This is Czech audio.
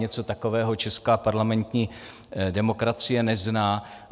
Něco takového česká parlamentní demokracie nezná.